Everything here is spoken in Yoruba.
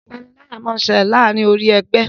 ìpaniláyà món ṣẹlẹ láàrin orí ègbé